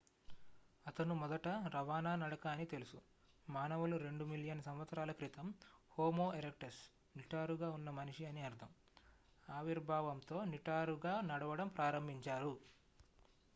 అతను మొదట రవాణా నడక అని తెలుసు మానవులు 2 మిలియన్ సంవత్సరాల క్రితం హోమో ఎరెక్టస్ నిటారుగా ఉన్న మనిషి అని అర్ధం ఆవిర్భావంతో నిటారుగా నడవడం ప్రారంభించారు